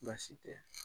Baasi tɛ